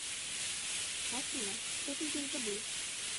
афина что ты здесь забыл